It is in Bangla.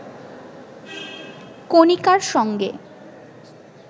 কণিকার সঙ্গে